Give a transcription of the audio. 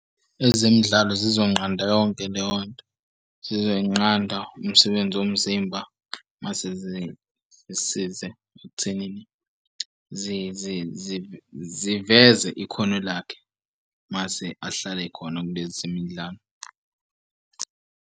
Ezemidlalo sizonqanda yonke leyo nto, sizoyinqanda umsebenzi womzimba. Mase zisize ekuthenini ziveze ikhono lakhe, mase ahlale ekhona kulezi zemidlalo.